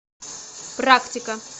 практика